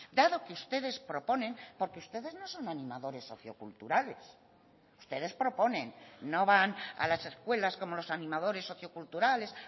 dado que ustedes proponen porque ustedes no son animadores socioculturales ustedes proponen no van a las escuelas como los animadores socioculturales